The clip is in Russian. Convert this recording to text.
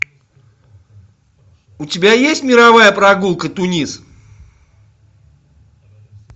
у тебя есть мировая прогулка тунис